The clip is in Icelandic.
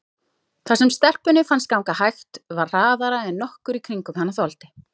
Það sem stelpunni fannst ganga hægt var hraðara en nokkur í kringum hana þoldi.